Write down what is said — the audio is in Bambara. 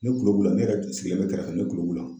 Ne tulo b'u la ne yɛrɛ sigilen bɛ kɛrɛfɛ ne kulo b'u la.